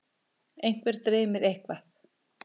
einhvern dreymir eitthvað